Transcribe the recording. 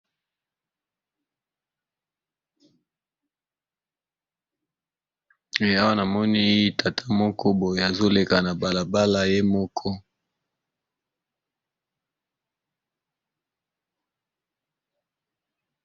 Awa namoni tata moko boye, azoleka na balabala ye moko